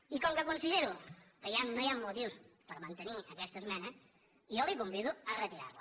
i com que considero que no hi han motius per mantenir aquesta esmena jo el convido a retirar la